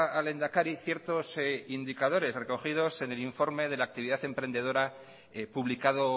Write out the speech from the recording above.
al lehendakari ciertos indicadores recogidos en el informe de la actividad emprendedora publicado